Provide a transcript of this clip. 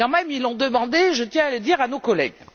Ils l'ont demandé, je tiens à le dire à nos collègues.